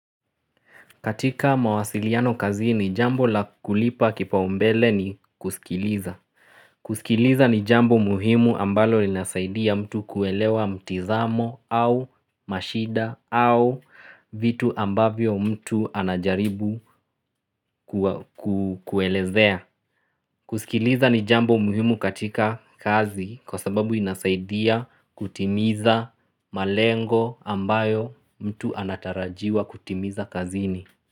Katika mawasiliano kazini jambo la kulipa kipaumbele ni kusikiliza. Kusikiliza ni jambo muhimu ambalo linasaidia mtu kuelewa mtizamo au mashida au vitu ambavyo mtu anajaribu kuelezea. Kusikiliza ni jambo muhimu katika kazi kwa sababu inasaidia kutimiza malengo ambayo mtu anatarajiwa kutimiza kazi ni.